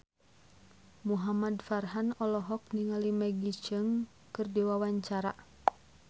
Muhamad Farhan olohok ningali Maggie Cheung keur diwawancara